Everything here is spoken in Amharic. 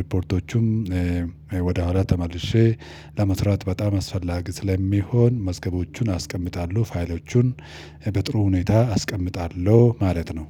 ሪፖርቶቹም ወደ ኋላ ተመልሼ ለመስራት በጣም አስፈላጊ ስለሚሆን መዝገቦቹን አስቀምጣለሁ ፋይሎቹን በጥሩ ሁኔታ አስቀምጣለሁ ማለት ነው